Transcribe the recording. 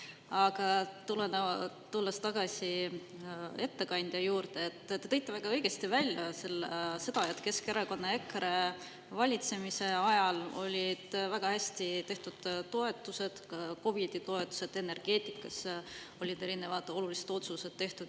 Aga tulles tagasi ettekandja juurde, te tõite väga õigesti välja seda, et Keskerakonna ja EKRE valitsemise ajal olid väga hästi tehtud toetused, COVID-i toetused, energeetikas olid erinevad olulised otsused tehtud.